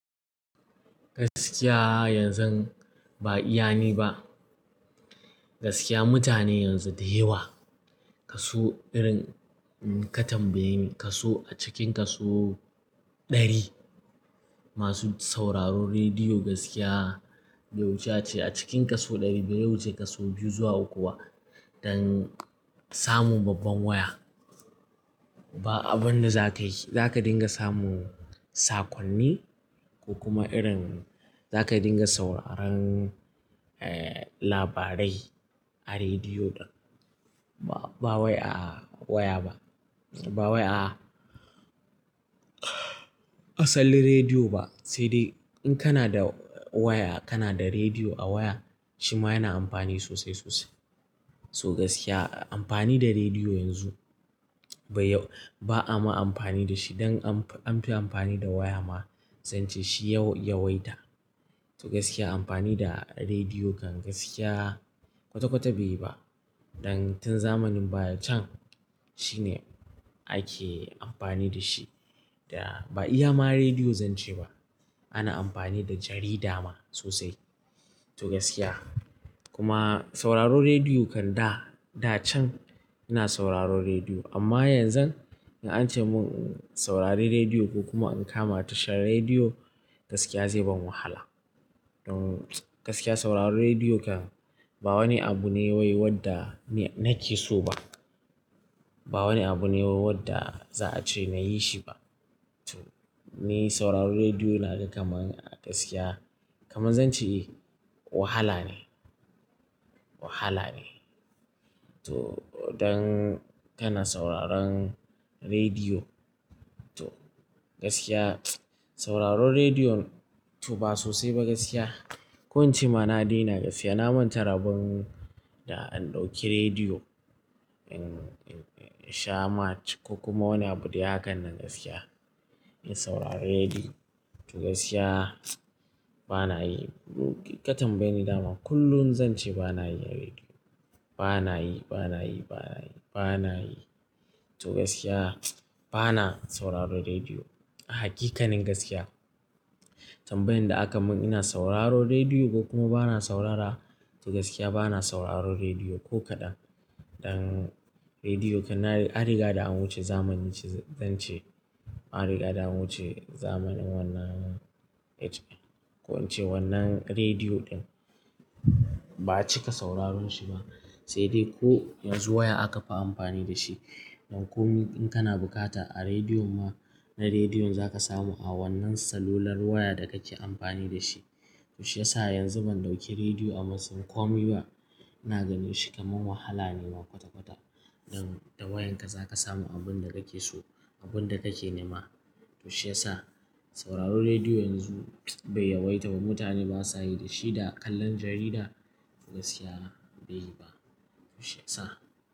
Gaskiya yanzu ba iya ni ba. Gaskiya mutane yanzu da yawa kaso irin ka tambaye ni kaso a cikin kaso ɗari masu sauraron rediyo gaskiya bai wuce a cikin kaso ɗari bai wuce kasu biyu zuwa uku ba. Dan samu babban waya ba abun da za ka yi, za ka dinga samu sakonni ko kuma irin za ka dinga sauraron, eh labarai a rediyo ba wai a waya ba. Ba wai a asalin rediyo ba. Sai dai in kana da waya kana da rediyo a waya shi ma yana amfani sosai sosai. So gaskiya amfani da rediyo yanzu bai yau-- ba ama amfani da shi dan anfi amfani da waya ma zan ce shi yau yawaita. To gaskiya amfani da rediyo kan gaskiya kwata kwata bai yi ba. Dan tun zamanin baya can shine ake amfani da shi da ba iya ma rediyo zan ce ba. Ana amfani da jarida ma sosai to gaskiya. Kuma sauraron rediyo kan da, da can ina sauraron rediyo amma yanzu in an ce mun in saurari rediyo ko kuma in kama tashar rediyo gaskiya zai ban wahala. Don gaskiya sauraron rediyo kan ba wani abu ne wai wadda ni nake so ba. Ba wani abu ne wai wadda za a ce na yi shi ba. To ni sauraron rediyo na da kamar a gaskiya kamar zan ce wahala ne, wahala ne. To don kana sauraron rediyo to gaskiya sauraron rediyo to ba sosai ba gaskiya. Ko in ce ma na daina gaskiya na manta rabon da an ɗauki rediyo in sha ma ko kuma wani abu dai hakan nan gaskiya. In saurari rediyo to gaskiya bana yi. Ka tambaye ni dama kullum zan ce bana yi na rediyo. Bana yi, bana yi, bana yi, bana yi. To gaskiya bana sauraron rediyo a hakikanin gaskiya. Tambayan da aka mun ina sauraro rediyo ko kuma bana saurara to gaskiya bana sauraron rediyo ko kaɗan. Dan rediyo kan na an riga da an wuce zamanin shi zan ce. An riga da an wuce zamanin wannan age din ko in ce wannan rediyo ɗin ba a cika sauraron shi ba. Sai dai ko yanzu waya aka fi amfani da shi. Don ko min in kana bukata a rediyon ma na rediyon za ka samu a wannan salular waya da kake amfani da shi. To shi yasa yanzu ban ɗauki rediyo a matsayin komi ba. Ina ganin shi kamar wahala ne ma kwata kwata. Don da wayan ka za ka samu abun da kake so abun da kake ne ma. To shi sa sauraron rediyo yanzu bai yawaita ba. Mutane basa yi da shi da kallon jarida gaskiya bai yi ba. To shi ya sa.